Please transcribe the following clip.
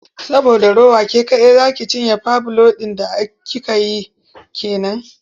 Saboda rowa ke kaɗai za ci cinye fbiloba ɗin da kika yi ke nan.